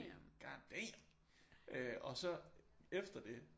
God damn og så efter det